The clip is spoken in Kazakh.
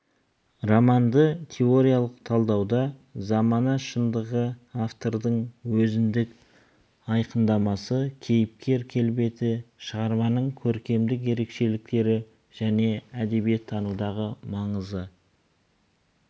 романды теориялық талдауда замана шындығы автордың өзіндік айқындамасы кейіпкер келбеті шығарманың көркемдік ерекшеліктері және әдебиеттанудағы маңызы